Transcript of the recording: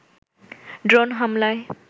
drone হামলায়